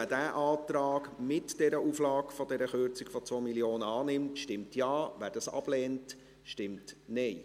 Wer diesen Antrag, mit der Auflage der Kürzung um 2 Mio. Franken, annimmt, stimmt Ja, wer dies ablehnt, stimmt Nein.